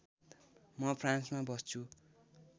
म फ्रान्समा बस्छु